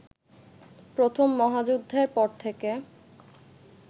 প্রথম মহাযুদ্ধের পর থেকে